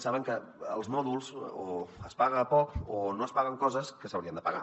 saben que als mòduls o es paga poc o no es paguen coses que s’haurien de pagar